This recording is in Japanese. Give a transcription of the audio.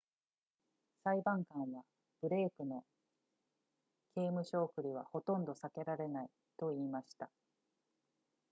裁判官はブレイクの刑務所送りはほとんど避けられないと言いました